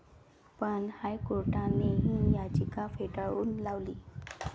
पण हायकोर्टाने ही याचिका फेटाळून लावली.